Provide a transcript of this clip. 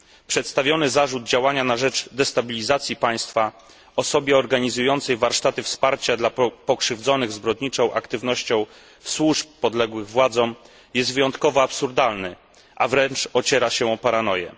Przedstawiony zarzut działania na rzecz destabilizacji państwa osobie organizującej warsztaty wsparcia dla pokrzywdzonych zbrodniczą aktywnością służb podległych władzom jest wyjątkowo absurdalny, a wręcz ociera się o paranoję.